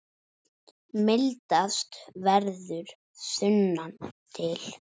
Mildast verður sunnan til.